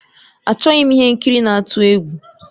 Achọghị m ihe nkiri na-atụ egwu